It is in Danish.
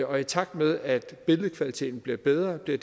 og i takt med at billedkvaliteten bliver bedre bliver